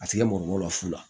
A tikɛ mɔgɔninfin ko lafu la